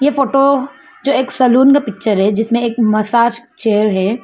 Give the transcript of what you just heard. Photo जो एक salon का पिक्चर है जिसमें एक मसाज चेयर है।